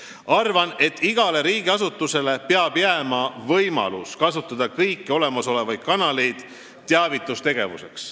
Arvan, et igale riigiasutusele peab jääma võimalus kasutada teavitustegevuseks kõiki olemasolevaid kanaleid.